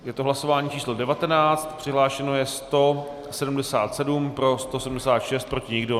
Je to hlasování číslo 19, přihlášeno je 177, pro 176, proti nikdo.